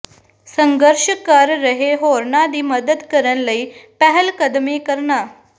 ਸੰਘਰਸ਼ ਕਰ ਰਹੇ ਹੋਰਨਾਂ ਦੀ ਮਦਦ ਕਰਨ ਲਈ ਪਹਿਲਕਦਮੀ ਕਰਨਾ